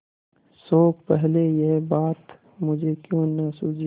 शोक पहले यह बात मुझे क्यों न सूझी